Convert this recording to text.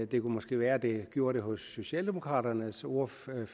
det kunne måske være det gjorde det hos socialdemokraternes ordfører